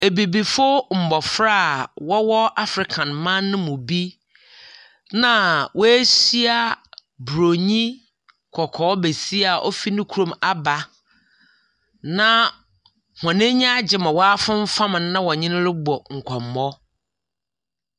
Abibifo mbɔfra a wɔwɔ Africa man no mu bi na woehyia buronyi kɔkɔɔ besia a ofi ne kurom aba, na hɔn anyi agye ama wɔafemfam no na wɔne no robɔ nkɔmbɔ.